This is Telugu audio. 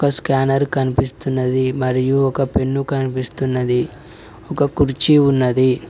ఒక స్కానర్ కనిపిస్తున్నది మరియు ఒక పెన్ను కనిపిస్తున్నది ఒక కుర్చీ ఉన్నది.